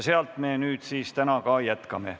Sealt me nüüd täna jätkame.